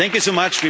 Thank you